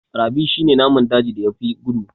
Rabbi shi ne naman dajin da ya fi gudu